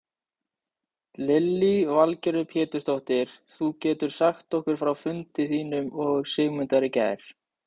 Lillý Valgerður Pétursdóttir: Getur þú sagt okkur frá fundi þínum og Sigmundar í gær?